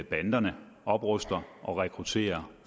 banderne opruster og rekrutterer